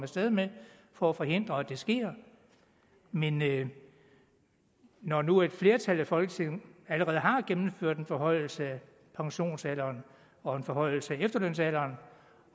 sted med for at forhindre at det sker men når nu et flertal i folketinget allerede har gennemført en forhøjelse af pensionsalderen og en forhøjelse af efterlønsalderen